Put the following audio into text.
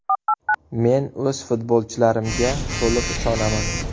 Men o‘z futbolchilarimga to‘liq ishonaman.